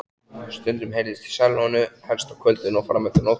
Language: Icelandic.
Stundum heyrðist í sellóinu, helst á kvöldin og frameftir nóttu.